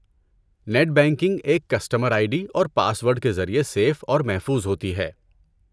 Net banking ایک customer ID ڈی اور پاس ورڈ کے ذریعے سِیف اور محفوظ ہوتی ہے۔